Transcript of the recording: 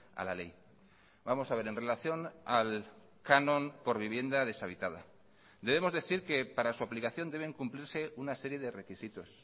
a la ley vamos a ver en relación al canon por vivienda deshabitada debemos decir que para su aplicación deben cumplirse una serie de requisitos